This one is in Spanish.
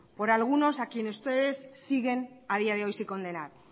por algunos a quienes ustedes siguen a día de hoy sin condenar